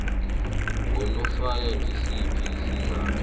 nganofana ngisiphi isizathu